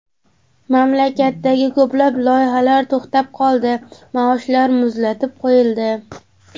Mamlakatdagi ko‘plab loyihalar to‘xtab qoldi, maoshlar muzlatib qo‘yildi.